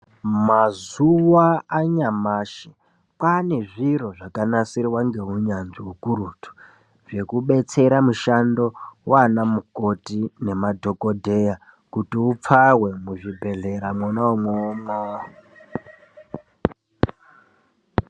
Mazuwa anyamashi kwane zviro zvakanasirwa ngeunyanzvi hukurutu zvekudetsera mushando wanamukoti namadhogodheya kuti upfawe muzvibhedhlera mwona imwomwo.